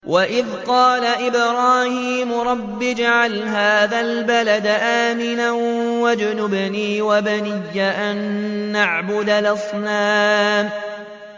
وَإِذْ قَالَ إِبْرَاهِيمُ رَبِّ اجْعَلْ هَٰذَا الْبَلَدَ آمِنًا وَاجْنُبْنِي وَبَنِيَّ أَن نَّعْبُدَ الْأَصْنَامَ